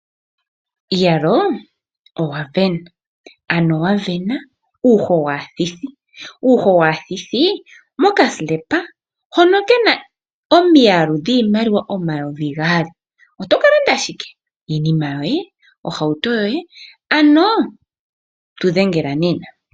Iiyaloo owasindana! Ano wa sindana uuho waathithi. Uuho waathithi mokambaapila komafutilo hono kena omiyalu dhiimaliwa omayovi gaali, oto ka landa shike? Iinima yoye, ohauto yoye, ano tu dhengela nena.